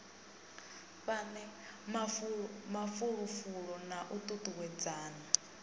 fhane mafulufulo na u tutuwedzana